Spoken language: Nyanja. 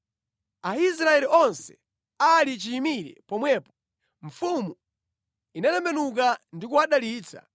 Aisraeli onse ali chiyimire pomwepo, mfumu inatembenuka ndi kuwadalitsa.